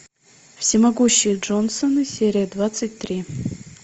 всемогущие джонсоны серия двадцать три